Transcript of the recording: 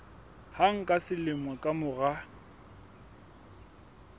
hang ka selemo ka mora